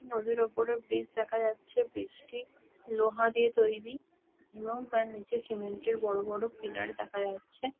নদীর ওপরে ব্রিজ দেখা যাচ্ছে ব্রিজ -টি লোহা দিয়ে তৈরী এবং তার নিচে সিমেন্ট -এর বড় বড় পিলার দেখা যাচ্ছে-এ।